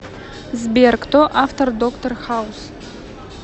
сбер кто автор доктор хаус